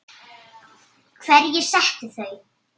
Hverjir settu þau?